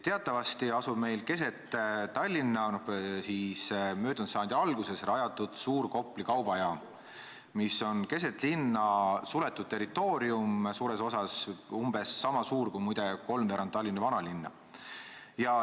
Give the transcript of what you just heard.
Teatavasti asub keset Tallinna möödunud sajandi alguses rajatud suur Kopli kaubajaam, mis on suures osas suletud territoorium, umbes niisama suur kui, muide, kolmveerand Tallinna vanalinna.